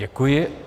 Děkuji.